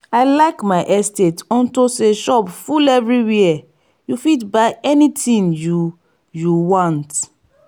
i like my estate unto say shop full everywhere and you fit buy anything you you want